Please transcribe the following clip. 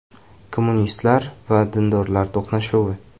Kommunistlar va dindorlarning to‘qnashuvi.